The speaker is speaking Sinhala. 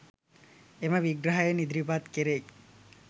එම විග්‍රහයෙන් ඉදිරිපත් කෙරෙයි.